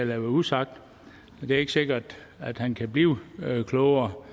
være usagt det er ikke sikkert at han kan blive klogere på